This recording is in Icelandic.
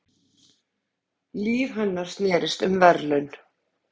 Líf hennar snerist um verðlaun.